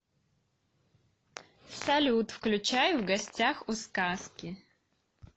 салют включай в гостях у сказки